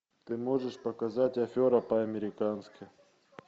ты можешь показать афера по американски